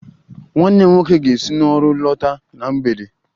Nwanne m nwoke ga-esi n'ọrụ lọta na mgbede